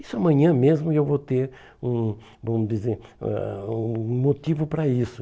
Isso amanhã mesmo eu vou ter um vamos dizer ãh hum um motivo para isso.